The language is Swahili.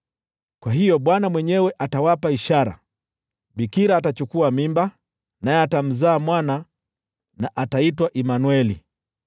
Kwa hiyo Bwana mwenyewe atawapa ishara: Bikira atachukua mimba, naye atamzaa mwana, na ataitwa Imanueli.